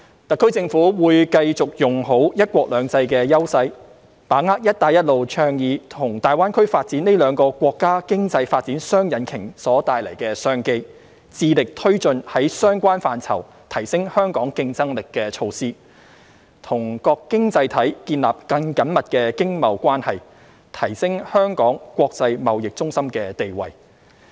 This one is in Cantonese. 特區政府會繼續用好"一國兩制"優勢，把握"一帶一路"倡議和大灣區發展這兩個國家經濟發展雙引擎所帶來的商機，致力推進在相關範疇提升香港競爭力的措施，與各經濟體建立更緊密經貿關係，提升香港國際貿易中心的地位。